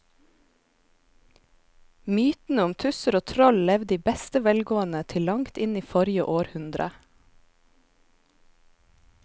Mytene om tusser og troll levde i beste velgående til langt inn i forrige århundre.